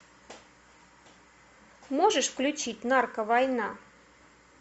можешь включить норка война